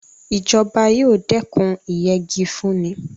Ìjọba yóò dẹ́kun ìyẹgi fúnni.